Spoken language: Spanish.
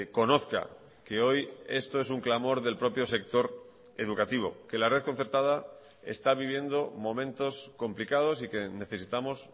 conozca que hoy esto es un clamor del propio sector educativo que la red concertada está viviendo momentos complicados y que necesitamos